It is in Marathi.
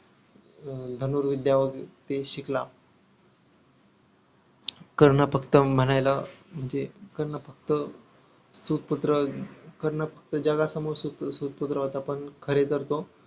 अं धनुर्विध्या ते शिकला कर्ण फक्त म्हणायला म्हणजे कर्ण फक्त सूत पुत्र कर्ण फक्त जगासमोर सूत सुत पुत्र होता पण खरे तर तो